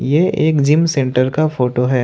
यह एक gym centre का फोटो है।